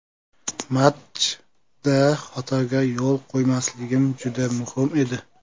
Matchda xatoga yo‘l qo‘ymasligim juda muhim edi.